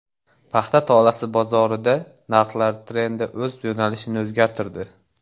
Paxta tolasi bozorida narxlar trendi o‘z yo‘nalishini o‘zgartirdi.